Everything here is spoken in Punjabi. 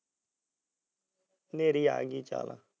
ਹਨੇਰੀ ਆ ਗਈ ਚੱਲ